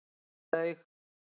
Svo ég laug.